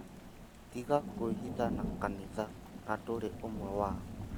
Tiga kwĩhitha na kanitha na ndũri omwe wao